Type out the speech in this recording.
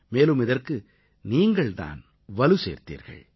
மேலும் இதற்கு நீங்கள் தான் வலு சேர்த்தீர்கள்